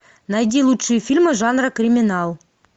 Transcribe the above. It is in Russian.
найди лучшие фильмы жанра криминал